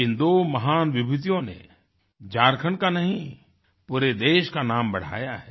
इन दो महान विभूतियों ने झारखण्ड का नहीं पूरे देश का नाम बढ़ाया है